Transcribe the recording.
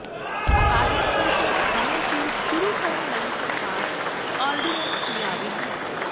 ਅਕਾਦਮਿਕ ਸੈਸ਼ਨ ਸਮੇਂ ਸਿਰ ਸ਼ੁਰੂ ਕਰਨ ਲਈ ਸਰਕਾਰ ਆਰਡੀਨੈਂਸ ਲਿਆਵੇਗੀ